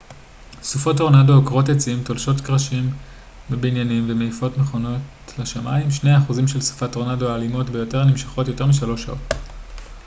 סופות טורנדו עוקרות עצים תולשות קרשים מבניינים ומעיפות מכוניות לשמיים שני האחוזים של סופות טורנדו האלימות ביותר נמשכות יותר משלוש שעות